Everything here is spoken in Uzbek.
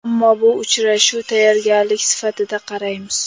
Ammo bu uchrashuv tayyorgarlik sifatida qaraymiz.